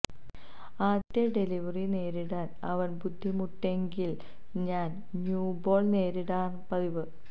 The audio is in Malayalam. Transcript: ആദ്യത്തെ ഡെലിവറി നേരിടാന് അവന് ബുദ്ധിമുട്ടുണ്ടെങ്കില് ഞാന് ന്യൂബോള് നേരിടാറാണ് പതിവ്